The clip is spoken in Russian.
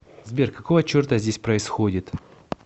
сбер какого черта здесь происходит